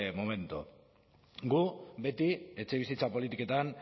momento gu beti etxebizitza politiketan